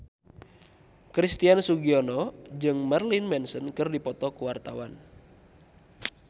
Christian Sugiono jeung Marilyn Manson keur dipoto ku wartawan